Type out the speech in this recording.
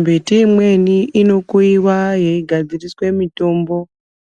Mbiti imweni ino kuyiwa yei gadziriswe mitombo